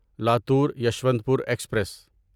Latur Yeshwantpur express